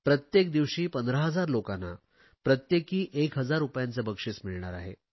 प्रत्येक दिवशी 15000 लोकांना प्रत्येकी 1000 रुपयांचे बक्षिस मिळणार आहे